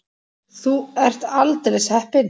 Þú ert aldeilis heppin.